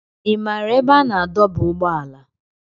Ị maara ebe a na-adọba ụgbọala?